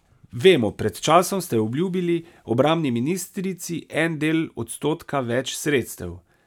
Vemo, pred časom ste obljubili obrambni ministrici en del odstotka več sredstev.